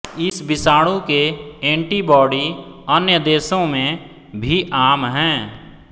इस विषाणु के एंटीबॉडी अन्य देशों में भी आम हैं